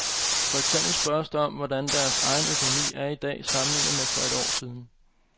For eksempel spørges der om, hvordan deres egen økonomi er i dag sammenlignet med for et år siden.